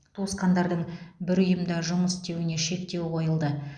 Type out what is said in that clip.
туысқандардың бір ұйымда жұмыс істеуіне шектеу қойылды